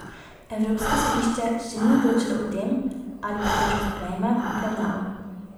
Evropsko sodišče še ni odločalo o tem, ali pritožbo sprejme v obravnavo.